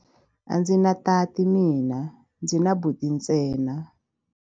A ndzi na tati mina, ndzi na buti ntsena.